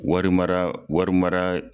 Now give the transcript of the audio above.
Wari mara wari mara